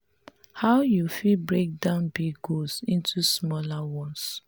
how you fit break down big goals into smaller ones?